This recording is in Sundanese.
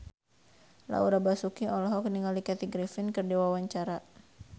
Laura Basuki olohok ningali Kathy Griffin keur diwawancara